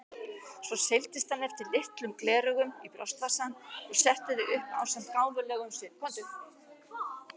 Svo seildist hann eftir litlum gleraugum í brjóstvasann og setti þau upp ásamt gáfulegum svip.